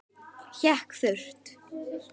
Hékk þurrt.